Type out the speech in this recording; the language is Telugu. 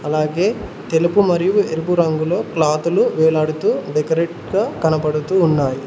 అలాగే తెలుపు మరియు ఎరుపు రంగులో క్లాతులు వేలాడుతూ డెకరేట్ గా కనబడుతూ ఉన్నాయి.